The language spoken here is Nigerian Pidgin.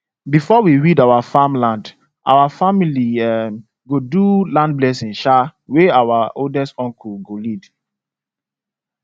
before we weed our farm land our family um go do land blessing um wey our oldest uncle go lead